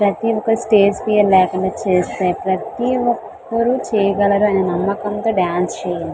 Stage fever లేకొండ చేస్తున్నారు ప్రతి వకరు నమ్మకం తో డాన్స్ చేయండి.